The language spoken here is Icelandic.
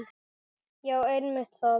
Já einmitt það.